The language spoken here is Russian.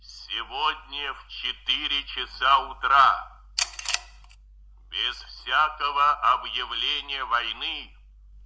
сегодня в четыре часа утра без всякого объявления войны